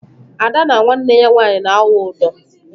Ada na nwanne ya nwaanyị na awụ ụdọh.